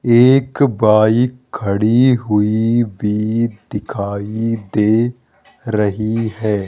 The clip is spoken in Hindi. एक बाइक खड़ी हुई भी दिखाई दे रही है।